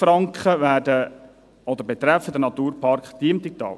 100 000 Franken betreffen den Naturpark Diemtigtal.